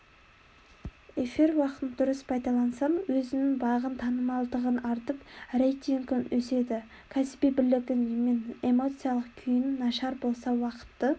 эфир уақытын дұрыс пайдалансаң өзіңнің бағың танымалдығың артып рейтингің өседі кәсіби білігің мен эмоциялық күйің нашар болса уақытты